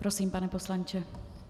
Prosím, pane poslanče.